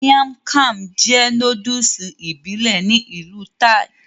Miang kham jẹ́ nóódùsì ìbílẹ̀ ní ìlú Thai